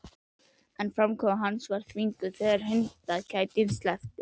En framkoma hans var þvinguð þegar hundakætinni sleppti.